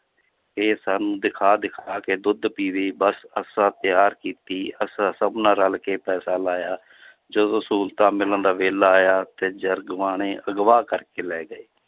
ਇਹ ਸਾਨੂੰ ਦਿਖਾ ਦਿਖਾ ਕੇ ਦੁੱਧ ਪੀਵੇ ਬਸ ਅਸਾਂ ਪਿਆਰ ਕੀਤੀ, ਅਸਾਂ ਸਭਨਾਂ ਰਲ ਕੇ ਪੈਸਾ ਲਾਇਆ ਜਦੋਂ ਸਹੂਲਤਾਂ ਮਿਲਣ ਦਾ ਵੇਲਾ ਆਇਆ ਤੇ ਜਰਗਵਾਣੇ ਅਗਵਾਹ ਕਰਕੇ ਲੈ ਗਏ।